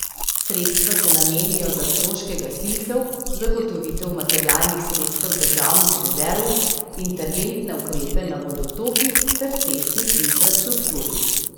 Sredstva se namenijo za stroške gasilcev, zagotovitev materialnih sredstev državnih rezerv, interventne ukrepe na vodotokih ter cestni infrastrukturi.